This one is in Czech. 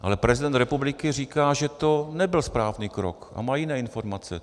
Ale prezident republiky říká, že to nebyl správný krok, a má jiné informace.